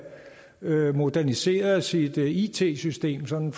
moderniseret sit it system sådan